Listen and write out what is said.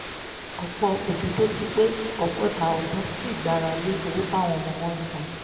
ọ̀pọ̀ òbí tó ti pé ọgọ́ta ọdún ṣi gbára lé owó táwọn ọmọ wọn ń san